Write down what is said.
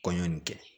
Kɔɲɔ nin kɛ